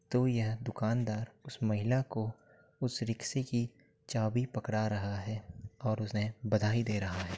तो यह दुकानदार उस महिला को उस रिक्शे की चाबी पकड़ा रहा है और उसे बधाई दे रहा है।